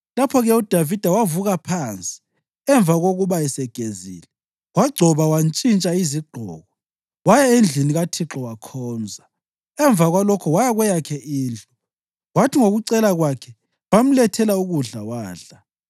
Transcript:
Lapho-ke uDavida wavuka phansi. Emva kokuba esegezile, wagcoba wantshintsha iziqgoko, waya endlini kaThixo wakhonza. Emva kwalokho waya kweyakhe indlu, kwathi ngokucela kwakhe bamlethela ukudla, wadla.